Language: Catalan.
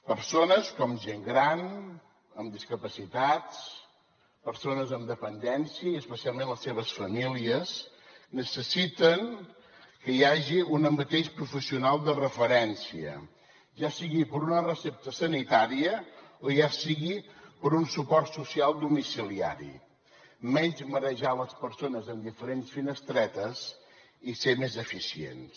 persones com gent gran amb discapacitats persones amb dependència i especialment les seves famílies necessiten que hi hagi un mateix professional de referència ja sigui per a una recepta sanitària o ja sigui per a un suport social domiciliari menys marejar les persones en diferents finestretes i ser més eficients